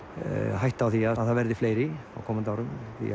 hætta á því að það verði fleiri á komandi árum því